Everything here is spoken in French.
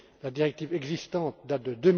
La directive existante date